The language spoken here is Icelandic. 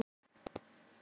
Svín getur átt við